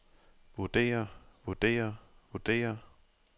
vurdere vurdere vurdere